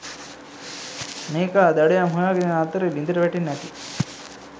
මේකා දඩයම් හොයාගෙන එන අතරේ ළිඳට වැටෙන්න ඇති.